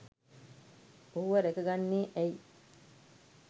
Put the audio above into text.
ඔහුව රැක ගන්නේ ඇයි?